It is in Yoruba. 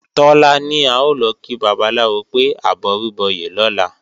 Tọ́lá ní a ò lọ kí babaláwo pé àbọrúbọyè lọ́la